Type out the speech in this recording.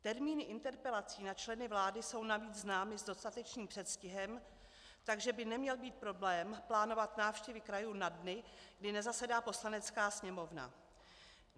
Termíny interpelací na členy vlády jsou navíc známy s dostatečným předstihem, takže by neměl být problém plánovat návštěvy krajů na dny, kdy nezasedá Poslanecká sněmovna.